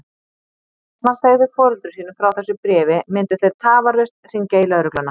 Ef hann segði foreldrum sínum frá þessu bréfi myndu þeir tafarlaust hringja í lögregluna.